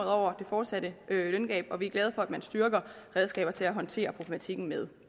over det fortsatte løngab og vi er glade for at man styrker redskaber til at håndtere problematikken med